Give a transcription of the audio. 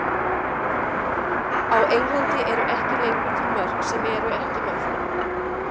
Á Englandi eru ekki lengur til mörk sem eru ekki mörk.